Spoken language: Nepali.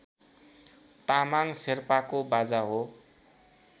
तामाङ शेर्पाको बाजा हो